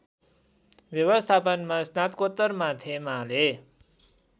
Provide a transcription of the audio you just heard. व्यवस्थापनमा स्नातकोत्तर माथेमाले